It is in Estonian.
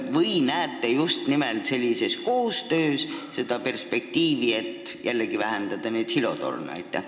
Või näete te just nimelt koostöös seda perspektiivi, et jällegi neid silotorne vähendada?